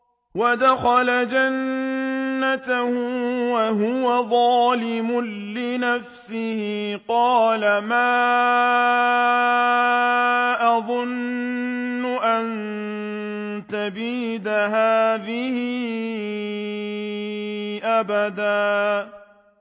وَدَخَلَ جَنَّتَهُ وَهُوَ ظَالِمٌ لِّنَفْسِهِ قَالَ مَا أَظُنُّ أَن تَبِيدَ هَٰذِهِ أَبَدًا